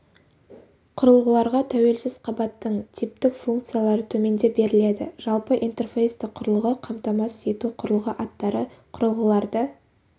құрылғыларға тәуелсіз қабаттың типтік функциялары төменде беріледі жалпы интерфейсті құрылғы қамтамасыз ету құрылғы аттары құрылғыларды